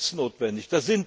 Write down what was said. Da sind Tests notwendig.